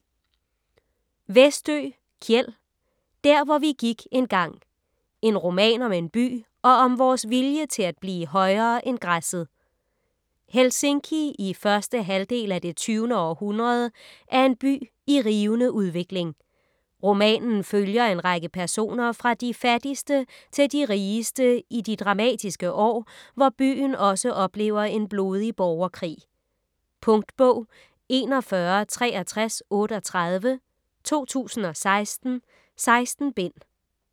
Westö, Kjell: Der hvor vi gik engang: en roman om en by og om vores vilje til at blive højere end græsset Helsinki i 1. halvdel af det 20. århundrede er en by i rivende udvikling. Romanen følger en række personer fra de fattigste til de rigeste i de dramatiske år, hvor byen også oplever en blodig borgerkrig. Punktbog 416338 2016. 16 bind.